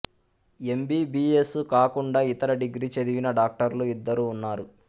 MBBS కాకుండా ఇతర degree చదివిన డాక్టర్లు ఇద్దరు ఉన్నారు